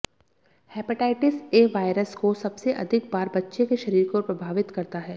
hepatitis A virus को सबसे अधिक बार बच्चे के शरीर को प्रभावित करता है